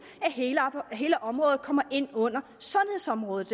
at hele området kommer ind under sundhedsområdet